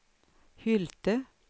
Hylte